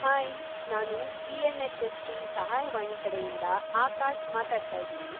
Hi! ನಾನು TNHSP. ಸಹಾಯವಾಣಿ ಕಡೆಯಿಂದಾ ಆಕಾಶ್‌ ಮಾತಾಡ್ತಾಯಿದಿನಿ.